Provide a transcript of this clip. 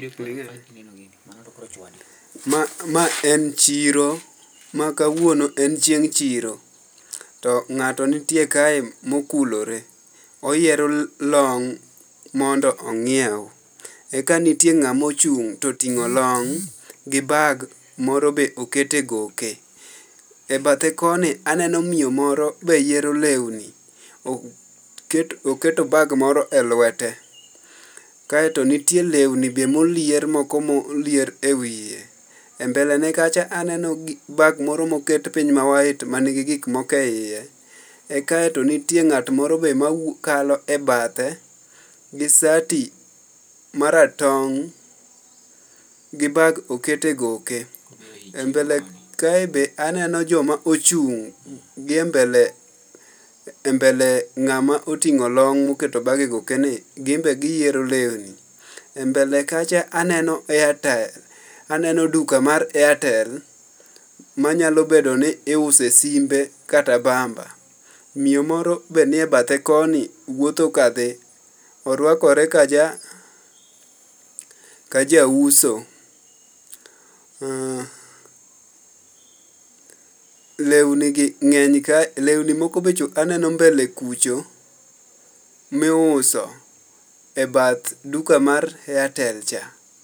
Ma ma en chiro ma kawuono en chieng' chiro. To ng'ato nitie kae mokulore ,oyiero long' mondo ong'iew. Eka nitie ng'amo chung' toting'o long gi bag moro be okete goke. E bathe koni aneno miyo moro be yiero lewni oket oketo bag moro e lwete. Kaeto nitie lewni be molier moko molier e wiye .E mbele ne kacha aneno bag moro moket piny ma white manigi gik moko eiye. Kaeto nitie ng'at moro be makalo e bathe gi sati maratong' gi bag okete goke .E mbele kae be aneno joma ochung' gi e mbele e mbele ng'ama oting'o long moketo bag e goke ni gin be giyiero lewni. E mbele kacha aneno airtime aneno duka mar artel manyalo bedo ni use simbe kata bamba .Miyo moro be nie bathe kodni wuotho ka dhi orwakore ka ja ka ja uso. Lewni gi ng'eny ka lewni moko be cho aneno mbele kucho miuso e bath duka mar airtel cha.